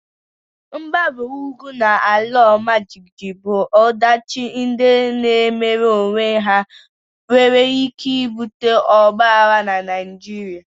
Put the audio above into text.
Mgbawa ugwu na ala ọmajiji bụ ọdachi ndị na-emere onwe ha nwere ike ibute Ọgba aghara na Naịjirịa